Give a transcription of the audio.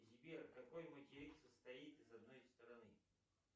сбер какой материк состоит из одной стороны